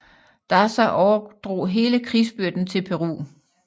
Daza overdrog hele krigsbyrden til Peru